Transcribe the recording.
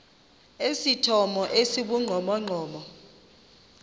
esithomo esi sibugqomogqomo